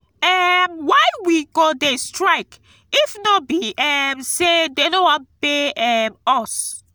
um why we go dey strike if no be um say dey no wan pay um us